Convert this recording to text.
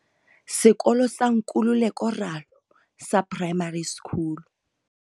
Sekolo sa Nkululeko Ralo sa Primary School.